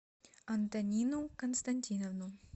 антонину константиновну